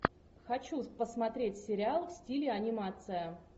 хочу посмотреть сериал в стиле анимация